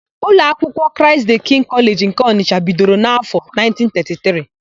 Ụlọ akwụkwọ Kraịst dịị kịngị Kọleji nke Ọnịsha bidoro n'áfọ̀ 1933.